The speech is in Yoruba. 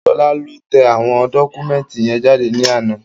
Ṣọlá lọ tẹ àwọn dọ́kúmẹ̀ntì yẹn jáde ní àná